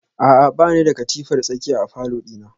A'a bani da katifar tsakiya a falor dina